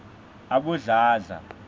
abodladla